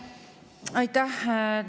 Aitäh!